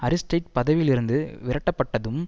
Aristide பதவியிலிருந்து விரட்டப்பட்டதும்